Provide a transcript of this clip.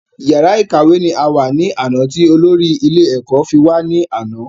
Yàrá ìkàwé ni a wà ní àná ti olórí ilé ẹ̀kọ́ wà ní àná